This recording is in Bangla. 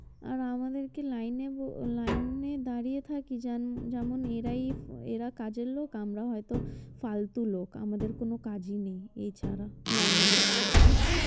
আর আমাদের কে লাইনে ব~ লাইনে থাকি যান~ যেমন এরাই এরা কাজের লোক আমরা হয়তো ফালতু লোক আমাদের কোনো কাজই নেই এ ছাড়া লাইনে দাড়ানো ছাড়া।